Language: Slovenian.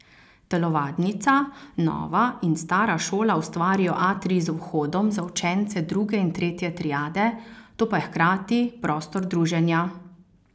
Telovadnica, nova in stara šola ustvarijo atrij z vhodom za učence druge in tretje triade, to pa je hkrati prostor druženja.